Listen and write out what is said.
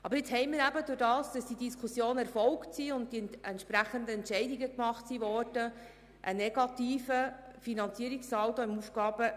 Aber aufgrund der Diskussionen und der entsprechenden Entscheide liegt jetzt im AFP ein negativer Finanzierungssaldo vor.